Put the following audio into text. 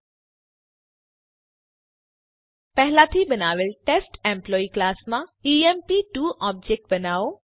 સ્વ આકારણી માટે પહેલાથી બનાવેલ ટેસ્ટ એમ્પ્લોયી ક્લાસમાં ઇએમપી2 ઓબજેક્ટ બનાવો